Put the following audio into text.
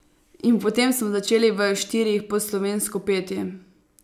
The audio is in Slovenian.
In potem smo začeli v štirih po slovensko peti.